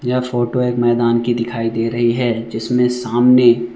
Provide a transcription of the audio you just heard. यह फोटो एक मैदान की दिखाई दे रही है जिसमें सामने--